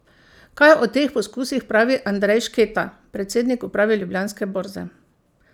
Kaj o teh poskusih pravi Andrej Šketa, predsednik uprave Ljubljanske borze?